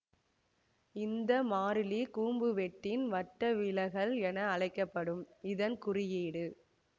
இந்த மாறிலி கூம்பு வெட்டின் வட்டவிலகல் என அழைக்க படும் இதன் குறியீடு